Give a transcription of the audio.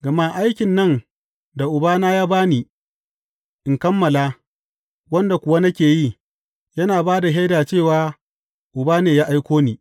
Gama aikin nan da Uba ya ba ni in kammala, wanda kuwa nake yi, yana ba da shaida cewa Uba ne ya aiko ni.